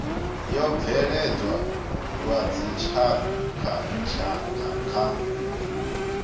yo bveledzwa lwa dzitshakhatshakha kha